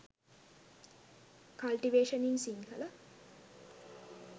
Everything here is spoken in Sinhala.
cultivation in sinhala